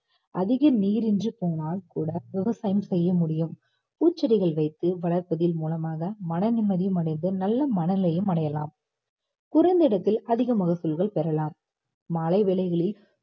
அதிக நீரின்று போனால் கூட விவசாயம் செய்ய முடியும். பூச்செடிகள் வைத்து வளர்ப்பதின் மூலமாக மன நிம்மதியும் அடைந்து நல்ல மனநிலையும் அடையலாம் குறைந்த இடத்தில் அதிக மகசூள்கள் பெறலாம்